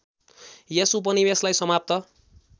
यस उपनिवेशलाई समाप्त